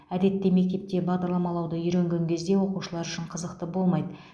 әдетте мектепте бағдарламалауды үйренген кезде оқушылар үшін қызықты болмайды